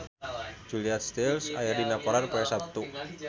Julia Stiles aya dina koran poe Saptu